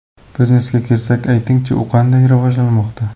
Biznesga kelsak, aytingchi, u qanday rivojlanmoqda?